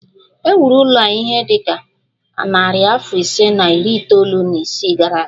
E wuru ụlọ a ihe dị ka narị afọ ise na iri itoolu na isii gara aga